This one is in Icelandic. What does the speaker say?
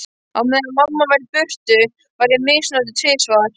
Á meðan mamma var í burtu var ég misnotuð tvisvar.